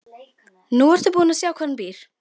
Nú ertu búin að sjá hvar hún býr.